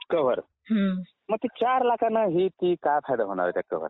Cover मग ते चार लाखाने काय फायदा होणार आहे?